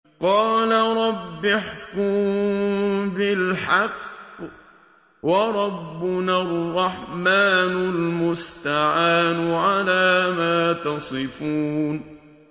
قَالَ رَبِّ احْكُم بِالْحَقِّ ۗ وَرَبُّنَا الرَّحْمَٰنُ الْمُسْتَعَانُ عَلَىٰ مَا تَصِفُونَ